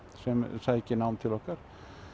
sem sækir nám til okkar